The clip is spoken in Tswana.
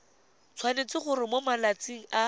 tshwanetse gore mo malatsing a